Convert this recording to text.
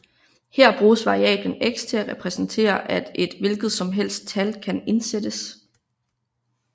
Her bruges variablen x til at repræsentere at et hvilket som helst tal kan indsættes